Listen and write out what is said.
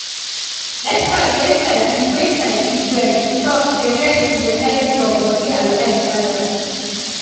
experts wey sabi wey sabi well talk say rest go help your body and life balance.